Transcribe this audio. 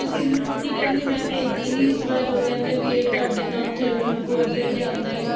ਸਿੱਮੀ ਬੀਜੀ ਕਹਿੰਦੀ ਮੈਂ ਭੇਜੀ ਨੀ ਇਸ ਬਾਰ ਓ ਕਹਿੰਦੇ ਵੀ ਤੁਹਾਡੇ ਤਾ ਓਥੇ courier ਜੇ ਆਂਦਾ ਹੀ ਨਹੀਂ